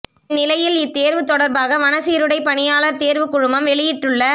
இந்நிலையில் இத்தேர்வு தொடர்பாக வன சீருடை பணியாளர் தேர்வு குழுமம் வெளியிட்டுள்ள